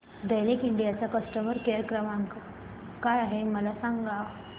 Daikin India चा customer care क्रमांक काय आहे मला सांगा